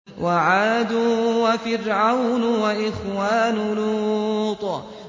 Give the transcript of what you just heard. وَعَادٌ وَفِرْعَوْنُ وَإِخْوَانُ لُوطٍ